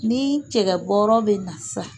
Ni cɛkɔ bɔɔrɔ bɛ na sisan